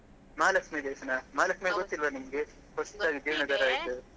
ಮಹಾಲಕ್ಷ್ಮಿ ದೇವಸ್ಥಾನ. ಮಹಾಲಕ್ಷ್ಮಿ ಗೊತ್ತಿಲ್ಲವಾ ನಿಮ್ಗೆ ಹೊಸದಾಗಿ ಜೀರ್ಣೋದ್ದಾರ ಆಯ್ತು.